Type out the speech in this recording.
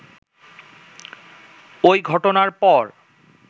ওই ঘটনার পর